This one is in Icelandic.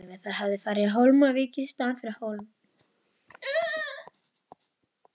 Það hafði farið á Hólmavík í staðinn fyrir Hólm.